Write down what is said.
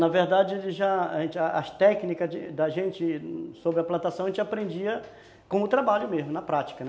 Na verdade, ele já, as técnicas da gente sobre a plantação a gente aprendia com o trabalho mesmo, na prática, né.